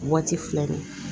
Waati fila de ye